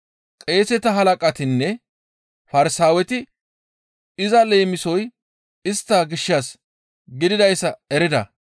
Qeeseta halaqatinne Farsaaweti iza leemisoy istta gishshas gididayssa erida.